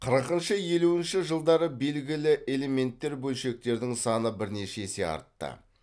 қырықыншы елуінші жылдары белгілі элементтер бөлшектердің саны бірнеше есе артты